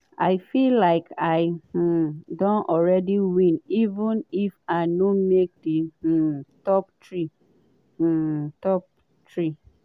“i feel like i um don already win even if i no make di um top three.” top three.”